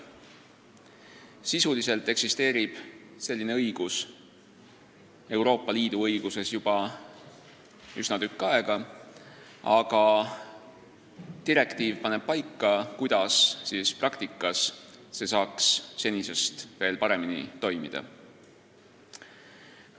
Sisuliselt eksisteerib selline õigus Euroopa Liidu õiguses juba üsna tükk aega, aga direktiiv paneb paika, kuidas see saaks praktikas senisest veel paremini toimida.